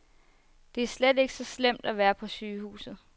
Det er slet ikke så slemt at være på sygehuset.